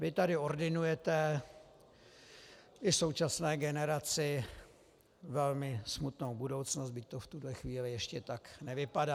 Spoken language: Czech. Vy tady ordinujete i současné generaci velmi smutnou budoucnost, byť to v tuhle chvíli ještě tak nevypadá.